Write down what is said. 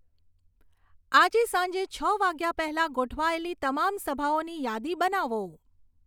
આજે સાંજે છ વાગ્યા પહેલાં ગોઠવાયેલી તમામ સભાઓની યાદી બનાવો